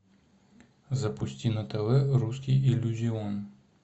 запусти на тв русский иллюзион